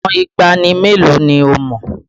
Ìtàn ìgbàanì mélòó ni o mọ̀?